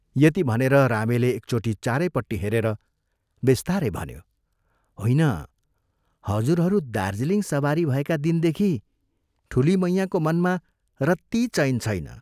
यति भनेर रामेले एकचोटि चारैपट्टि हेरेर बिस्तारै भन्यो, "होइन, हजुरहरू दार्जीलिङ सवारी भएका दिनदेखि ठूली मैयाँको मनमा रत्ती चैन छैन।